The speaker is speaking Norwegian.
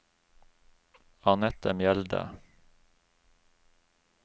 Annette Mjelde